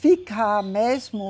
Ficar mesmo.